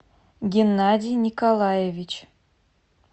геннадий николаевич